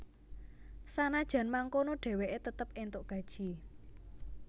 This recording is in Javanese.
Sanajan mangkono dheweke tetep entuk gaji